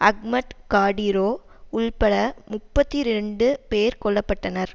Ahmad Kadyrov உள்பட முப்பத்தி ரெண்டு பேர் கொல்ல பட்டனர்